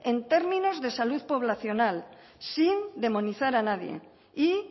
en términos de salud poblacional sin demonizar a nadie y